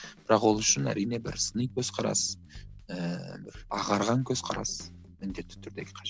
бірақ ол үшін әрине бір сыни көзқарас ыыы бір ағарған көзқарас міндетті түрде қажет